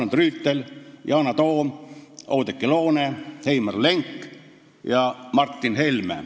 Arnold Rüütel, Yana Toom, Oudekki Loone, Heimar Lenk ja Martin Helme.